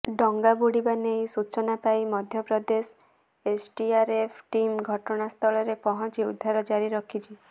ଡଙ୍ଗାବୁଡ଼ିବା ନେଇ ସୂଚନା ପାଇ ମଧ୍ୟପ୍ରଦେଶ ଏସଡିଆରଏଫ ଟିମ ଘଟଣାସ୍ଥଳରେ ପହଞ୍ଚି ଉଦ୍ଧାର ଜାରି ରଖିଛି